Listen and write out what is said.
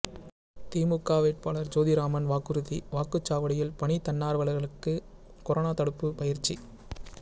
திமுக வேட்பாளர் ஜோதிராமன் வாக்குறுதி வாக்குச்சாவடியில் பணி தன்னார்வலர்களுக்கு கொரோனா தடுப்பு பயிற்சி